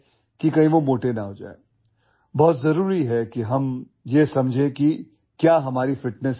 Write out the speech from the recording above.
It is very important that we understand what is good and what is bad for our fitness